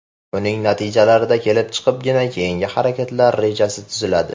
Uning natijalarida kelib chiqibgina keyingi harakatlar rejasi tuziladi.